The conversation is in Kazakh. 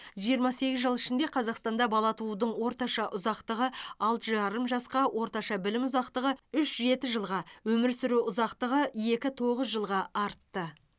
жиырма сегіз жыл ішінде қазақстанда бала туудың орташа ұзақтығы алты жарым жасқа орташа білім ұзақтығы үш жеті жылға өмір сүру ұзақтығы екі тоғыз жылға артты